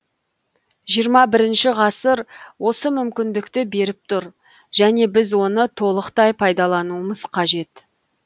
жиырма бірінші ғасыр осы мүмкіндікті беріп тұр және біз оны толықтай пайдалануымыз қажет